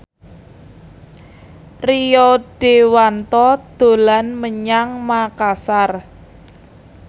Rio Dewanto dolan menyang Makasar